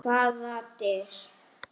Hvaða dyr?